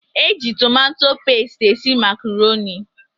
Eji tomato pestie esị macroni.